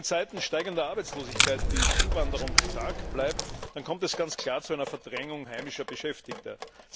Wenn in Zeiten steigender Arbeitslosigkeit die Zuwanderung stark bleibt, dann kommt es ganz klar zu einer Verdrängung heimischer Beschäftigter.